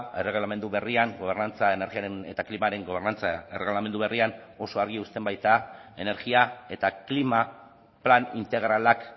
erregelamendu berrian gobernantza energiaren eta klimaren gobernantza erregelamendu berrian oso argi uzten baita energia eta klima plan integralak